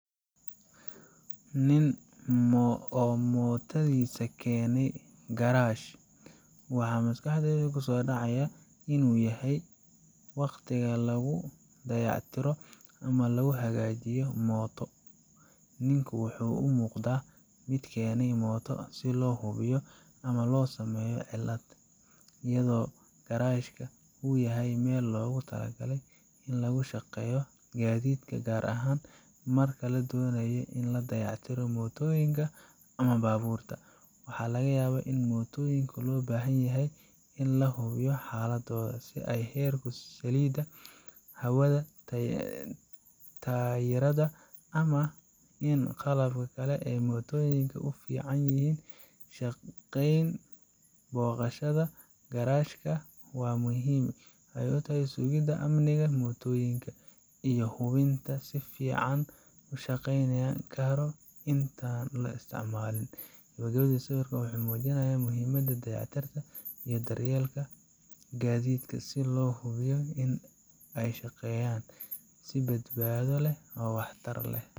Nin oo mootadiisa keenaya garaash, waxa maskaxdayda ku soo dhacaya in uu yahay waqtiga lagu dayactirayo ama lagu hagaajinayo mooto. Ninku waxa uu u muuqdaa mid keenaya mooto si loo hubiyo ama loo sameeyo cilad, iyadoo garaashka uu yahay meel loogu talagalay in lagu shaqeeyo gaadiidka, gaar ahaan marka la doonayo in la dayactiro mootooyinka ama baabuurta. Waxaa laga yaabaa in mootooyinka loo baahan yahay in la hubiyo xaaladooda, sida heerkulka saliida, hawada taayirada, ama in qalabka kale ee mootooyinka uu si fiican yihin shaqeynayo. Booqashada garaashka waxay muhiim u tahay sugidda amniga mootooyinka iyo hubinta in ay si fiican u shaqeynayaan ka hor inta aan la isticmaalin. Gabagabadii, sawirkan wuxuu muujinayaa muhiimadda dayactirka iyo daryeelka gaadiidka si loo hubiyo in ay shaqeeyaan si badbaado leh oo waxtar leh.